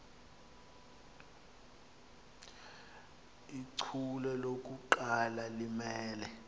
ichule lokuqala limele